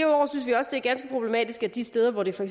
er ganske problematisk at de steder hvor det for